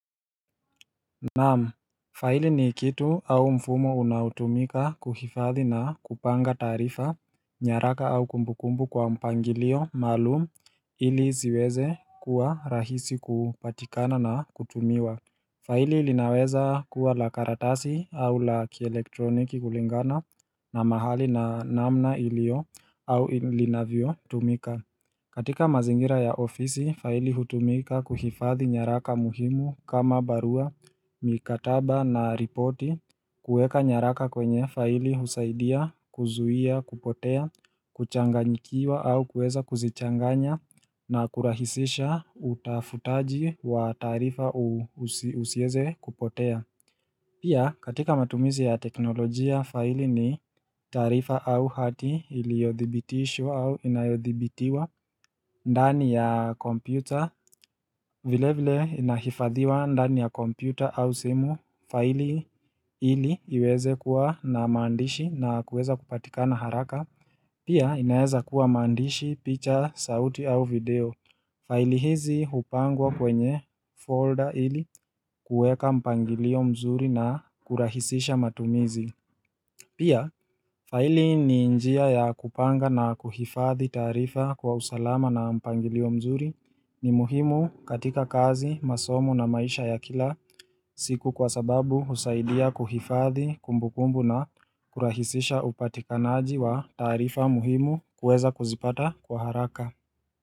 Naam, faili ni kitu au mfumo unaotumika kuhifadhi na kupanga taarifa, nyaraka au kumbukumbu kwa mpangilio maalum ili ziweze kuwa rahisi kupatikana na kutumiwa faili linaweza kuwa la karatasi au la kielektroniki kulingana na mahali na namna ilio au linavyotumika. Katika mazingira ya ofisi, faili hutumika kuhifadhi nyaraka muhimu kama barua mikataba na ripoti kuweka nyaraka kwenye faili husaidia, kuzuia, kupotea, kuchanganyikiwa au kuweza kuzichanganya na kurahisisha utafutaji wa taarifa usieze kupotea. Pia katika matumizi ya teknolojia faili ni taarifa au hati iliyodhibitishwa au inayodhibitiwa ndani ya kompyuta vile vile inahifadhiwa ndani ya kompyuta au simu faili ili iweze kuwa na mandishi na kuweza kupatikana haraka Pia inaeza kuwa maandishi, picha, sauti au video faili hizi upangwa kwenye folder ili kuweka mpangilio mzuri na kurahisisha matumizi Pia, faili ni njia ya kupanga na kuhifadhi taarifa kwa usalama na mpangilio mzuri ni muhimu katika kazi, masomo na maisha ya kila siku kwa sababu husaidia kuhifadhi kumbukumbu na kurahisisha upatikanaji wa taarifa muhimu kueza kuzipata kwa haraka.